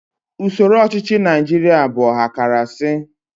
Usoro ọchịchị Naijiria bụ ọhakarasị